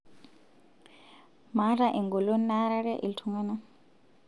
maata engolon naarare iltunganak